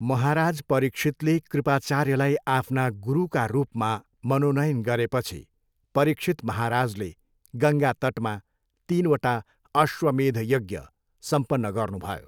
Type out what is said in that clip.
महाराज परीक्षितले कृपाचार्यलाई आफ्ना गुरुका रूपमा मनोनयन गरेपछि परीक्षित महाराजले गङ्गा तटमा तिनवटा अश्वमेध यज्ञ सम्पन्न गर्नुभयो।